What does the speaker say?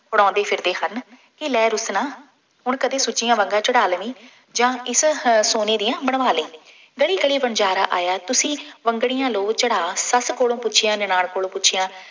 ਬਣਾਉਂਦੇ ਫਿਰਦੇ ਹਨ। ਕੀ ਲੈ ਰੁਸਣਾ, ਹੁਣ ਕਦੇ ਸੁੱਚੀਆਂ ਵੰਗਾਂ ਚੜ੍ਹਾ ਲਵੀਂ ਜਾਂ ਇਸ ਹ ਸੋਨੇ ਦੀਆਂ ਬਣਵਾ ਲਈਂ। ਗਲੀ ਗਲੀ ਵਣਜਾਰਾ ਆਇਆ, ਤੁਸੀਂ ਵੰਗਣੀਆਂ ਲਉ ਚੜ੍ਹਾ, ਸੱਸ ਕੋਲੋਂ ਪੁੱਛਿਆ, ਨਨਾਣ ਕੋਲੋਂ ਪੁੱਛਿਆ।